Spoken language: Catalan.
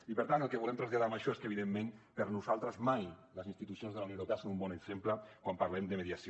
i per tant el que volem traslladar amb això és que evidentment per nosaltres mai les institucions de la unió europea són un bon exemple quan parlem de mediació